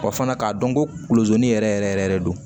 Wa fana k'a dɔn kolonzi ni yɛrɛ yɛrɛ yɛrɛ yɛrɛ don